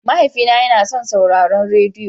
Mahaifina yana son sauraron rediyo.